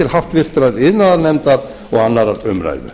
háttvirtrar iðnaðarnefndar og annarrar umræðu